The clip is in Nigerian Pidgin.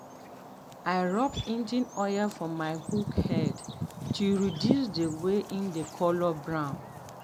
i rub engine oil for my hoe head to reduce the way em dey colour brown.